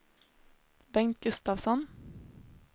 Bengt Gustafsson